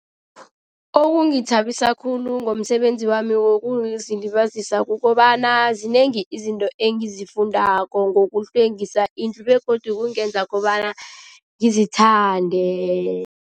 Okungithabisa khulu ngomsebenzi wami wokuzilibazisa kukobana zinengi izinto engizifundako ngokuhlwengisa indlu begodu kungenza kobana ngizithande.